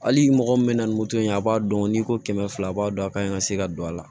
Hali mɔgɔ min bɛ na ni moto ye a b'a dɔn n'i ko kɛmɛ fila a b'a dɔn a ka ɲi ka se ka don a la